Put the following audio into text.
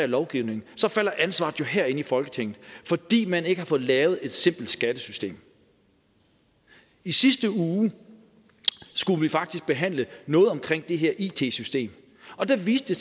lovgivningen falder ansvaret jo herinde i folketinget fordi man ikke har fået lavet et simpelt skattesystem i sidste uge skulle vi faktisk behandle noget omkring det her it system og der viste